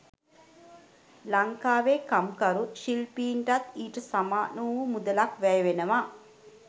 ලංකාවේ කම්කරු /ශිල්පීන්ටත් ඊට සමාන වූ මුදලක් වැය වෙනවා.